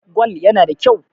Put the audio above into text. Gwal yana da kyau.